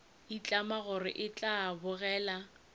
itlama gore e tla botegela